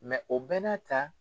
o bɛɛ n'a ta.